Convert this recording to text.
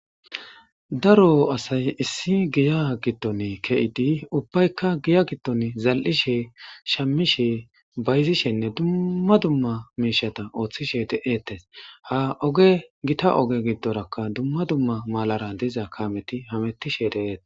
daro asay issi giya giddon ke7idi ubbaykka giya giddon zal7ishe shammishe bayzishenne dumma dumma miishata ooththishe de7eetes ha oge gita oge giddorakka dumma dumma malara diza kameti hamettishe deete